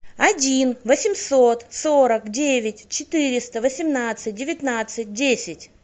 один восемьсот сорок девять четыреста восемнадцать девятнадцать десять